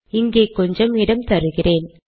இங்கே கொஞ்சம் இடம் தருகிறேன்